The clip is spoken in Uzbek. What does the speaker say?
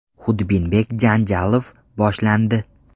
Xudbinbek Janjalov: Boshlandi.